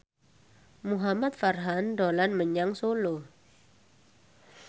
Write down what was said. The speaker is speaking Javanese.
Muhamad Farhan dolan menyang Solo